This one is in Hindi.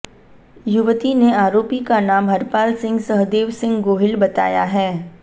युवती ने आरोपी का नाम हरपालसिंह सहदेवसिंह गोहिल बताया है